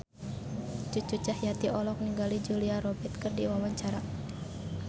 Cucu Cahyati olohok ningali Julia Robert keur diwawancara